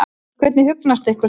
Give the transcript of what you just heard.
Hvernig hugnast ykkur það?